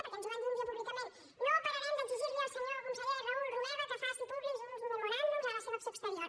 perquè ens ho van dir un dia públicament no pararem d’exigir al senyor conseller raül romeva que faci públics uns memoràndums de la seva acció exterior